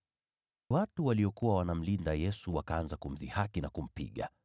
Watu waliokuwa wanamlinda Yesu wakaanza kumdhihaki na kumpiga.